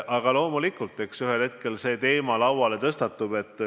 Aga loomulikult, eks ühel hetkel see teema lauale tuleb.